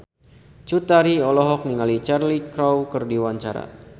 Cut Tari olohok ningali Cheryl Crow keur diwawancara